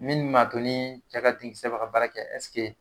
Minnu ma to ni cɛ ka denkisɛ ba ka baara kɛ